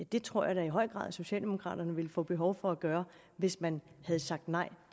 det tror jeg da i høj grad socialdemokraterne ville få behov for at gøre hvis man havde sagt nej